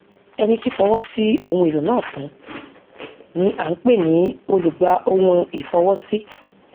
ẹni tí fọwọ sí ohun èlò náà fún ni à ń pè ní olùgbàohunìfọwọsí